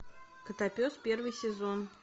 котопес первый сезон